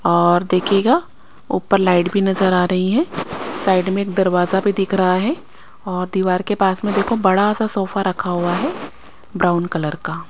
और देखियेगा ऊपर लाइट भी नज़र आ रही है साइड में एक दरवाज़ा भी दिक रहा है और दीवार के पास में देखो बड़ा सा सोफा रखा हुआ है ब्राउन कलर का--